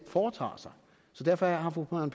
foretager sig så derfor har fru marion